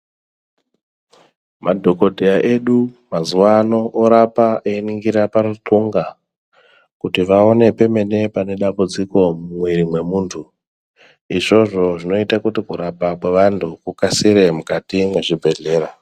Madhokoteya edu mazuva anaya orape einingira paruxunga kuti vaonekwe pemene pane dambudziko mukati memwiri wemuntu izvozvo zvinoita kuti vakasire muzvibhedhlera